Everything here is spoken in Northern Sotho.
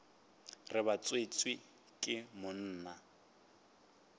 re ba tswetšwe ke monna